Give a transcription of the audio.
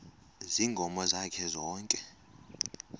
ziinkomo zakhe zonke